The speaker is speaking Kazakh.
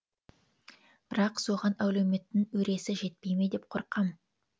бірақ соған әлеуметтің өресі жетпей ме деп қорқам